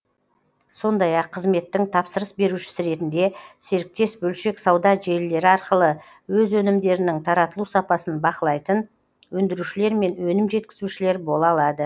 сондай ақ қызметтің тапсырыс берушісі ретінде серіктес бөлшек сауда желілері арқылы өз өнімдерінің таратылу сапасын бақылайтын өндірушілер мен өнім жеткізушілер бола алады